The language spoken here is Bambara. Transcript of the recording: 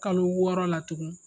Kalo wɔɔrɔ la tugun